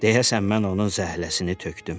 Deyəsən mən onun zəhləsini tökdüm.